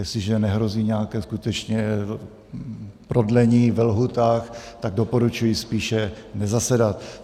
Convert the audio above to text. Jestliže nehrozí nějaké skutečně prodlení ve lhůtách, tak doporučuji spíše nezasedat.